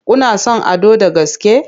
Kuna son Ado da gaske?